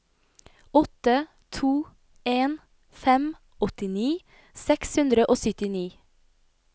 åtte to en fem åttini seks hundre og syttini